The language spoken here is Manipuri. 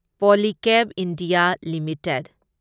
Polycab India limited